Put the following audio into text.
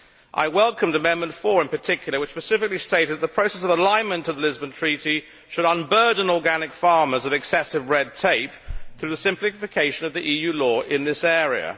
I welcomed Amendment 4 in particular, which specifically stated that the process of alignment of the Lisbon Treaty should unburden organic farmers of excessive red tape through the simplification of the EU law in this area.